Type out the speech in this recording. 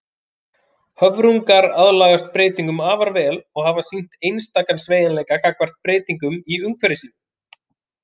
Höfrungar aðlagast breytingum afar vel og hafa sýnt einstakan sveigjanleika gagnvart breytingum í umhverfi sínu.